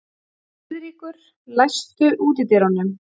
Friðríkur, læstu útidyrunum.